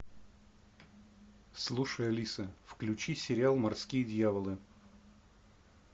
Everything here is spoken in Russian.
слушай алиса включи сериал морские дьяволы